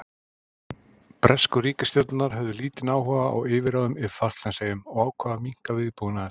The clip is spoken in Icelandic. Bresku ríkisstjórnirnar höfðu lítinn áhuga á yfirráðum yfir Falklandseyjum og ákváðu að minnka viðbúnaðinn þar.